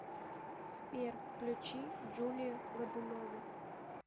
сбер включи джулию годунову